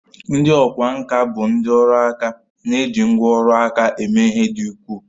Ndị ọkwá nkà bụ ndị ọrụ aka na-eji ngwá ọrụ aka eme ihe dị ukwuu